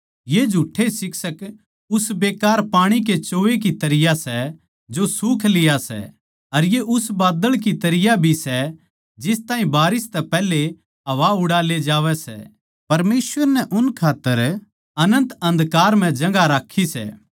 ये झुठ्ठे शिक्षक उस बेकार पाणी के चोवै की तरियां सै जो सूख लिया सै अर ये उस बाद्दळ की तरियां भी सै जिस ताहीं बारिस तै पैहले हवा उड़ा ले जावै सै परमेसवर नै उन खात्तर अनन्त अन्धकार म्ह जगहां राक्खी सै